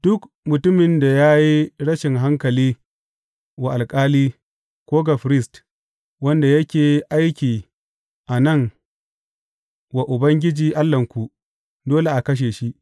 Duk mutumin da ya yi rashin hankali wa alƙali, ko ga firist wanda yake aiki a nan wa Ubangiji Allahnku, dole a kashe shi.